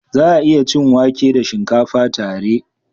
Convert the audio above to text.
Za a iya cin wake da shinkafa tare.